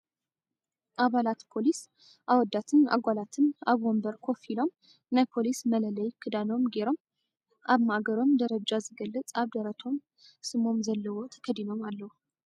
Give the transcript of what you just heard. ኣባላት ፖሊስ ኣወዳትን ኣጋላትን ኣብ ወንበር ኮፍ ኢሎም ናይ ፖሊስ መለለይ ክዳኖም ጌሮም ኣብ ማእገሮም ደረጃ ዝገልፅ ኣብ ደረቶም ስሞም ዘለዎ ተከዲኖም ኣለዉ።